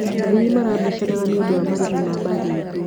Athii marabicanaga nĩũndũ wa marĩhi ma mbathi itũ.